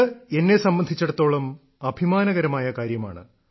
ഇത് എന്ന സംബന്ധിച്ചിടത്തോളം അഭിമാനകരമായ കാര്യമാണ്